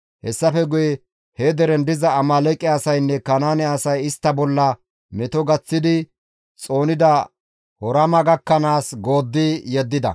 Hessafe guye he deren diza Amaaleeqe asaynne Kanaane asay istta bolla meto gaththidi xoonida Horma gakkanaas gooddi yeddida.